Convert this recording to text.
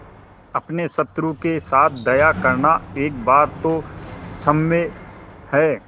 अपने शत्रु के साथ दया करना एक बार तो क्षम्य है